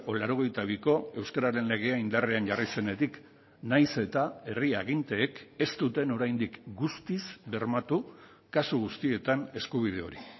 laurogeita biko euskararen legea indarrean jarri zenetik nahiz eta herri aginteek ez duten oraindik guztiz bermatu kasu guztietan eskubide hori